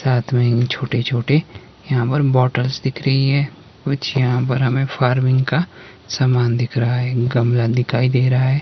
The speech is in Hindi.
साथ में ही छोटे छोटे यहां पर बॉटल्स दिख रही हैं कुछ यहां पर हमें फार्मिंग का सामान दिख रहा है एक गमला दिखाई दे रहा है।